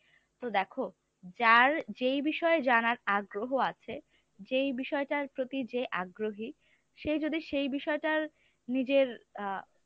তো দেখো যার যেই বিষয়ে জানার আগ্রহ আছে যেই বিষয়টার প্রতি যে আগ্রহী সে যদি সেই বিষয়টার নিজের আ